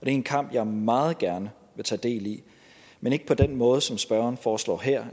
en kamp jeg meget gerne vil tage del i men ikke på den måde som spørgeren foreslår her